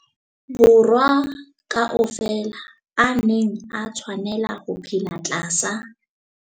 Borwa ka ofela a neng a tshwanela ho phela tlasa